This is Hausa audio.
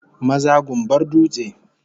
Maza gumbar dutse